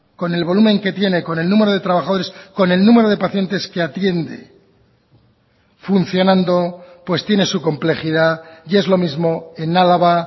con el volumen que tiene con el número de trabajadores con el número de pacientes que atiende funcionando pues tiene su complejidad y es lo mismo en álava